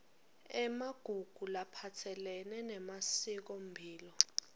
emagugu laphatselene nemasikomphilo